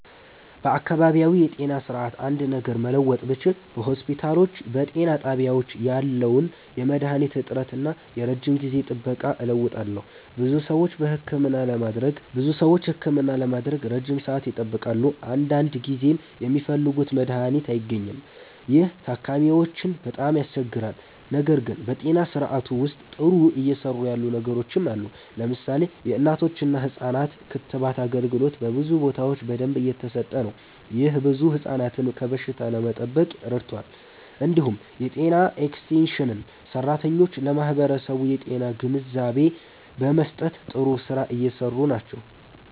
በአካባቢያዊ የጤና ስርዓት አንድ ነገር መለወጥ ብችል በሆስፒታሎችና በጤና ጣቢያዎች ያለውን የመድሃኒት እጥረት እና የረጅም ጊዜ ጥበቃ እለውጣለሁ። ብዙ ሰዎች ህክምና ለማግኘት ረጅም ሰዓት ይጠብቃሉ፣ አንዳንድ ጊዜም የሚፈልጉት መድሃኒት አይገኝም። ይህ ታካሚዎችን በጣም ያስቸግራል። ነገር ግን በጤና ስርዓቱ ውስጥ ጥሩ እየሰሩ ያሉ ነገሮችም አሉ። ለምሳሌ የእናቶችና ህፃናት ክትባት አገልግሎት በብዙ ቦታዎች በደንብ እየተሰጠ ነው። ይህ ብዙ ህፃናትን ከበሽታ ለመጠበቅ ረድቷል። እንዲሁም የጤና ኤክስቴንሽን ሰራተኞች ለማህበረሰቡ የጤና ግንዛቤ በመስጠት ጥሩ ስራ እየሰሩ ናቸው።